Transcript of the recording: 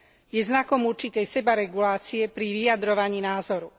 Je znakom určitej sebaregulácie pri vyjadrovaní názoru.